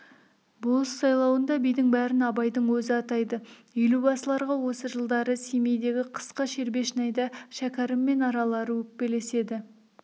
болыс сайлауында бидің бәрін абайдың өзі атайды елубасыларға осы жылдары семейдегі қысқы шербешнайда шәкәріммен аралары өкпелеседі